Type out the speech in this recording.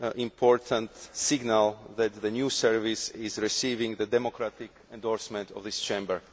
important signal that the new service is receiving the democratic endorsement of this Chamber.